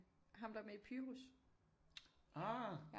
Ham der er med i Pyrus ja